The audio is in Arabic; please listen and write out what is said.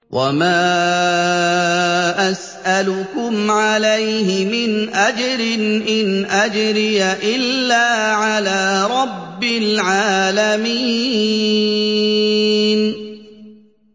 وَمَا أَسْأَلُكُمْ عَلَيْهِ مِنْ أَجْرٍ ۖ إِنْ أَجْرِيَ إِلَّا عَلَىٰ رَبِّ الْعَالَمِينَ